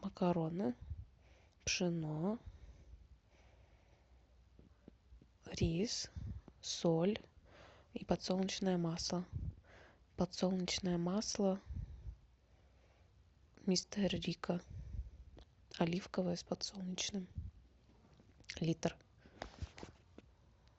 макароны пшено рис соль и подсолнечное масло подсолнечное масло мистер рикко оливковое с подсолнечным литр